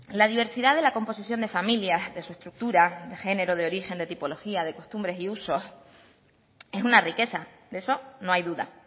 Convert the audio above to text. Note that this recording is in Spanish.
la diversidad de la composición de familias de su estructura de género de origen de tipología de costumbre y usos es una riqueza de eso no hay duda